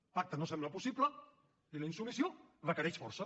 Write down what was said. el pacte no sembla possible i la insubmissió requereix força